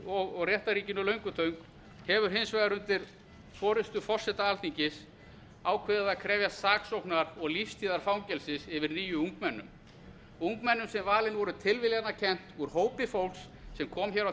og réttarríkinu löngutöng hefur hins vegar undir forustu forseta alþingis ákveðið að krefjast saksóknar og lífstíðarfangelsis yfir níu ungmennum ungmennum sem valin voru tilviljanakennt úr hópi fólks sem kom hér á